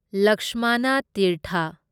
ꯂꯛꯁꯃꯥꯅꯥ ꯇꯤꯔꯊ